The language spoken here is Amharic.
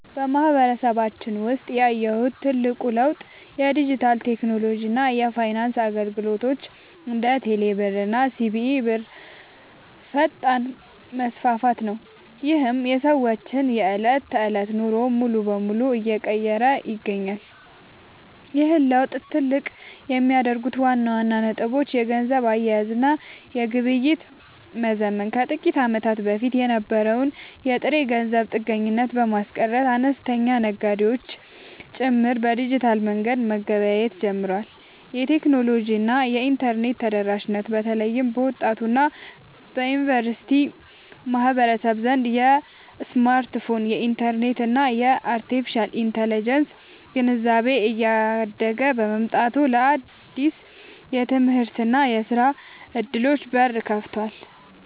በማህበረሰባችን ውስጥ ያየሁት ትልቁ ለውጥ የዲጂታል ቴክኖሎጂ እና የፋይናንስ አገልግሎቶች (እንደ ቴሌብር እና ሲቢኢ ብር) ፈጣን መስፋፋት ነው፤ ይህም የሰዎችን የዕለት ተዕለት ኑሮ ሙሉ በሙሉ እየቀየረ ይገኛል። ይህን ለውጥ ትልቅ የሚያደርጉት ዋና ዋና ነጥቦች - የገንዘብ አያያዝ እና ግብይት መዘመን፦ ከጥቂት ዓመታት በፊት የነበረውን የጥሬ ገንዘብ ጥገኝነት በማስቀረት፣ አነስተኛ ነጋዴዎች ጭምር በዲጂታል መንገድ መገበያየት ጀምረዋል። የቴክኖሎጂ እና የኢንተርኔት ተደራሽነት፦ በተለይ በወጣቱ እና በዩኒቨርሲቲ ማህበረሰብ ዘንድ የስማርትፎን፣ የኢንተርኔት እና የአርቴፊሻል ኢንተለጀንስ (AI) ግንዛቤ እያደገ መምጣቱ ለአዳዲስ የትምህርትና የሥራ ዕድሎች በር ከፍቷል።